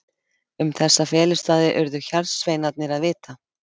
Um þessa felustaði urðu hjarðsveinarnir að vita.